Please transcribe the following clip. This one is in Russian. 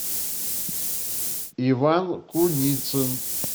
иван куницин